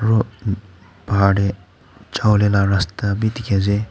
aro bahar teh jabo lah rasta be dikhi ase.